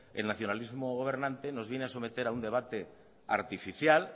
el nacionalismo gobernante nos viene a someter a un debate artificial